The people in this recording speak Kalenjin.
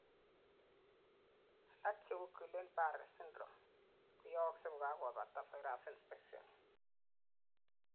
alak, cheu guillain barre syndrome, koyooksei kokakobata virus infection